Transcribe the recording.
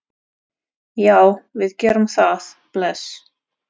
Já, við gerum það. Bless.